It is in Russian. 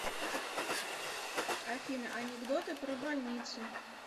афина анекдоты про больницы